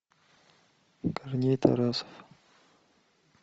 корней тарасов